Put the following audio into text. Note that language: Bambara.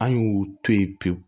An y'u to yen pewu